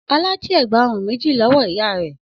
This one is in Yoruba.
Ọlá jí ẹ̀gbá-ọrùn méjì lọ́wọ́ ìyá rẹ̀?